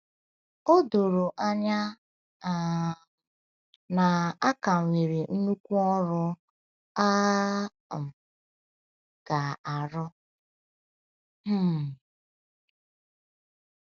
O doro anya um na a ka nwere nnukwu ọrụ a um ga - arụ. um